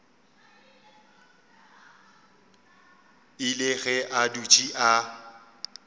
ile ge a dutše a